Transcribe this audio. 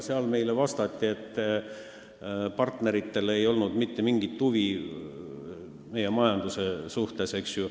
Selle kohta meile vastati, et partneritel ei olnud mitte mingit huvi meie majanduse vastu.